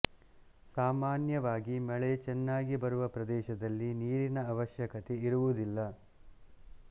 ಸಾಮಾನ್ಯವಾಗಿ ಮಳೆ ಚೆನ್ನಾಗಿ ಬರುವ ಪ್ರದೇಶದಲ್ಲಿ ನೀರಿನ ಅವಶ್ಯಕತೆ ಇರುವುದಿಲ್ಲ